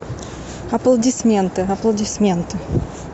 аплодисменты аплодисменты